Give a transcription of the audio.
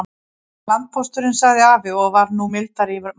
Er það landpósturinn, sagði afi og var nú mildari í málrómnum.